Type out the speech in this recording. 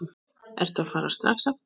Ertu að fara strax aftur?